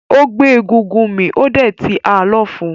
Ó gbé egúngún mì ó dẹ̀ ti ha lọ́fun.